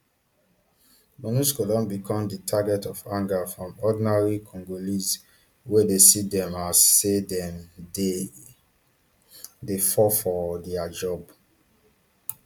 monusco don become di target of anger from ordinary congolese wey dey see dem as say dem dey dey fail for dia job